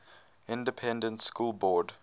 independent school board